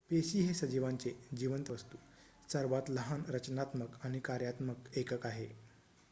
पेशी हे सजीवांचे जिवंत वस्तू सर्वात लहान रचनात्मक आणि कार्यात्मक एकक आहे